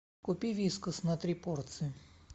купи вискас на три порции